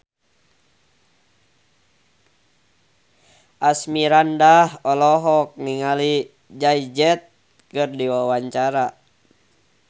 Asmirandah olohok ningali Jay Z keur diwawancara